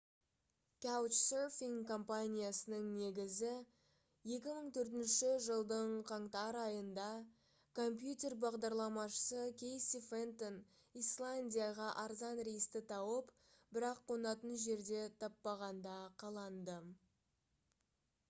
couchsurfing компаниясының негізі 2004 жылдың қаңтар айында компьютер бағдарламашысы кейси фентон исландияға арзан рейсті тауып бірақ қонатын жерде таппағанда қаланды